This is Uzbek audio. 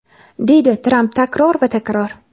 deydi Tramp takror va takror.